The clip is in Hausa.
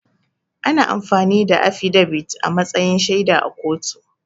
Ana amfani da affidabit a matsayin shaida a kotu